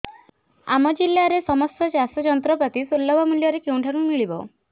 ଆମ ଜିଲ୍ଲାରେ ସମସ୍ତ ଚାଷ ଯନ୍ତ୍ରପାତି ସୁଲଭ ମୁଲ୍ଯରେ କେଉଁଠାରୁ ମିଳିବ